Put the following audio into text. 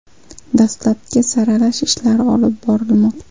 Dastlabki saralash ishlari olib borilmoqda.